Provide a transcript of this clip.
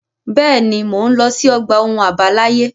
Bẹ́ẹ̀ ni, mò ń lọ sí ọgbà ohun àbáláyé.